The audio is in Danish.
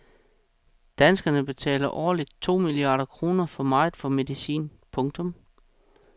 Danskerne betaler årligt to milliarder kroner for meget for medicin. punktum